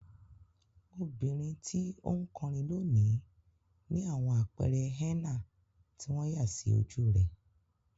Obìnrin tí ó ń kọrin lónìí ní àwọn àpẹẹrẹ henna tí wọ́n yà sí ojú rẹ̀.